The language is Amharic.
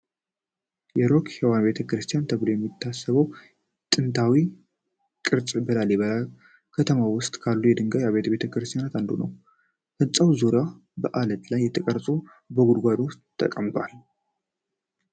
የሮክ-ሄዎን ቤተ ክርስቲያን ተብሎ የሚታሰበው ጥንታዊ ሕንጻ በላሊበላ ከተማ ውስጥ ካሉ የድንጋይ አብያተ ክርስቲያናት አንዱ ነው። ህንጻው በዙሪያው በዐለት ላይ ተቀርጾ በጉድጓድ ውስጥ ተቀምጧል።